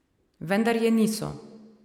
Vendar je niso.